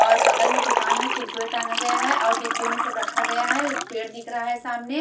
और बगल में दुकान है कुरकुरे टांगा गया है और डिब्बे में सब रखा गया है पेड़ दिख रहा है सामने।